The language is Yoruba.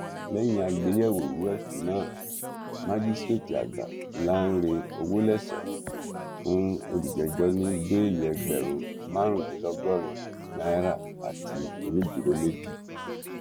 lẹyìn àgbéyẹwò ìwé ẹsùn náà májísrèètìàgbà lánrẹ òwòlẹsọ fún olùjẹjọ ní bẹẹlì ẹgbẹrún márùndínlọgọrin náírà àti onídùúró méjì